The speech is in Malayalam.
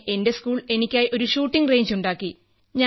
പിന്നെ എന്റെ സ്കൂൾ എനിക്കായി ഒരു ഷൂട്ടിംഗ് റേഞ്ച് ഉണ്ടാക്കി